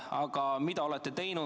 Aga mida te olete teinud?